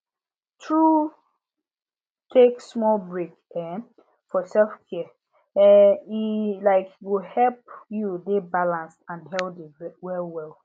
true take small break um for selfcare um e um go help you dey balanced and healthy well well